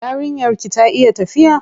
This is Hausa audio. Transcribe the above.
Yarinyar ki ta iya tafiya?